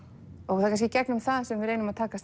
það er kannski gegnum það sem við reynum að takast